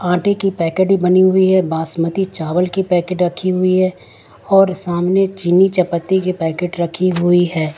आटे की पैकेट बनी हुई है बासमती चावल की पैकेट रखी हुई है और सामने चीनी चपाती के पैकेट रखी हुई है।